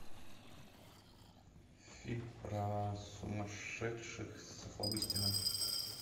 фильм про сумасшедших с охлобыстиным